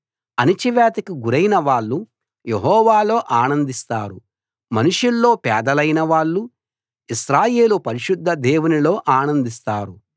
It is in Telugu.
అణచివేతకి గురైన వాళ్ళు యెహోవాలో ఆనందిస్తారు మనుషుల్లో పేదలైన వాళ్ళు ఇశ్రాయేలు పరిశుద్ధ దేవునిలో ఆనందిస్తారు